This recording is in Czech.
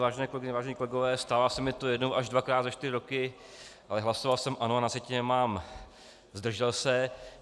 Vážené kolegyně, vážení kolegové, stává se mi to jednou až dvakrát za čtyři roky, ale hlasoval jsem ano a na sjetině mám zdržel se.